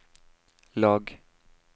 lag